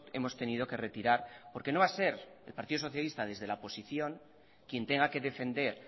hemos tenido que retirar porque no va a ser el partido socialista desde la oposición quien tenga que defender